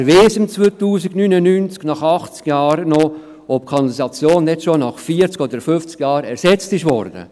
Wer weiss im Jahr 2099 noch, nach 80 Jahren, ob die Kanalisation nicht schon nach 40 oder 50 Jahren ersetzt wurde?